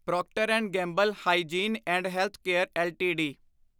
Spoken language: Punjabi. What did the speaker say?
Procter and Gamble hygiene and health care LTD